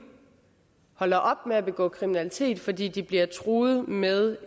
holder op med at begå kriminalitet fordi de bliver truet med